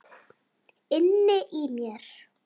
Inni í mér.